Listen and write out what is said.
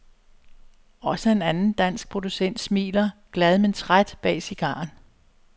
Også en anden dansk producent smiler, glad men træt bag cigaren.